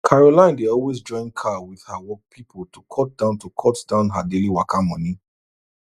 caroline dey always join car with her work people to cut down to cut down her daily waka money